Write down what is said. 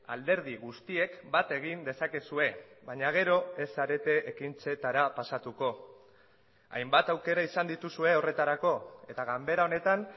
alderdi guztiek bat egin dezakezue baina gero ez zarete ekintzetara pasatuko hainbat aukera izan dituzue horretarako eta ganbera honetan